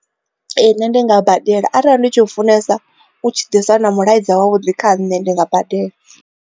Ee, nṋe ndi nga badela arali ndi tshi funesa u tshi ḓisa na mulaedza wa vhuḓi kha nṋe ndi nga badela.